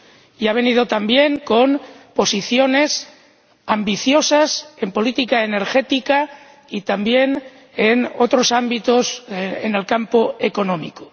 Y ha venido, también, con posiciones ambiciosas en política energética y, también, en otros ámbitos en el campo económico.